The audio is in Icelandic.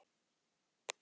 Elska þig, systir.